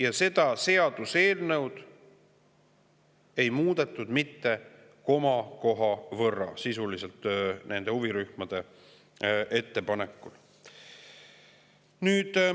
Aga seda seaduseelnõu ei muudetud mitte komakohagi võrra nende huvirühmade ettepanekul.